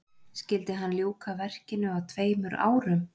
skyldi hann ljúka verkinu á tveimur árum